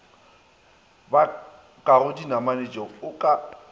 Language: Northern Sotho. ba bakago dinamanatšeo o ka